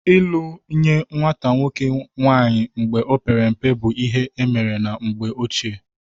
Ịlụ nye nwata nwoke nwaanyị mgbe ọ pere mpe bụ ihe emere na mgbe ochie